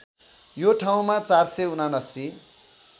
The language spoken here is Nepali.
यो ठाउँमा ४७९